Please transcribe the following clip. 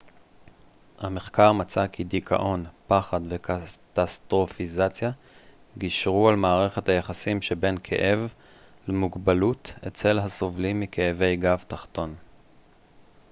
המחקר מצא כי דיכאון פחד וקטסטרופיזציה גישרו על מערכת היחסים שבין כאב למוגבלות אצל הסובלים מכאבי גב תחתון